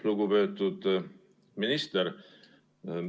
Lugupeetud minister!